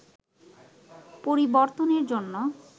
পরিবর্তনের জন্য